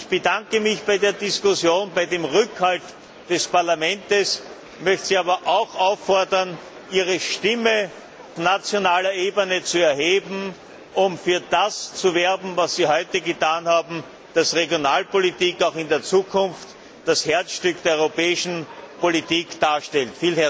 Ich bedanke mich für die Diskussion und den Rückhalt des Parlaments, möchte Sie aber auch auffordern, Ihre Stimme auf nationaler Ebene zu erheben, um für das zu werben, was Sie heute getan haben, damit Regionalpolitik auch in der Zukunft das Herzstück der europäischen Politik darstellt.